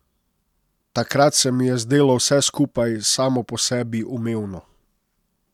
Takrat se mi je zdelo vse skupaj samo po sebi umevno.